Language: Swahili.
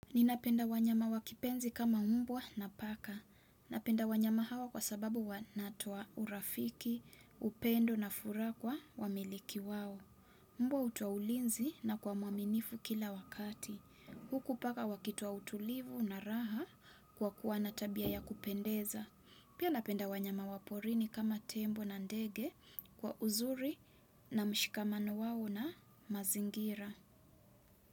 Ninapenda wanyama wa kipenzi kama mbwa na paka. Napenda wanyama hawa kwa sababu wanatoa urafiki, upendo na furaha kwa wamiliki wao. Mbwa hutoa ulinzi na kuwa mwaminifu kila wakati. Huku paka wakitoa utulivu na raha kwa kuwa na tabia ya kupendeza. Pia napenda wanyama wa porini kama tembo na ndege kwa uzuri na mshikamano wao na mazingira.